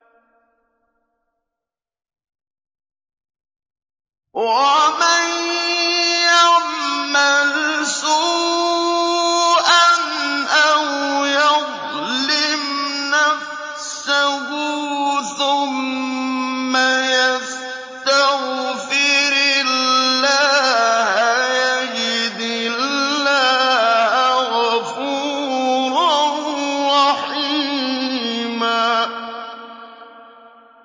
وَمَن يَعْمَلْ سُوءًا أَوْ يَظْلِمْ نَفْسَهُ ثُمَّ يَسْتَغْفِرِ اللَّهَ يَجِدِ اللَّهَ غَفُورًا رَّحِيمًا